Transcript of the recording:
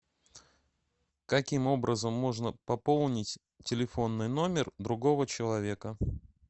каким образом можно пополнить телефонный номер другого человека